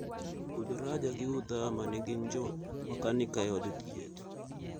Uthraja gi Uthama ne gin jo makanika e od thieth.